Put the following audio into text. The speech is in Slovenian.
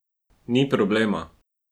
Ni problema!